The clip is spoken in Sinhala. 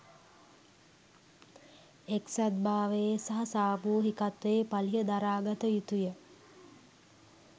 එක්සත් භාවයේ සහ සාමූහිකත්වයේ පලිහ දරා ගත යුතුය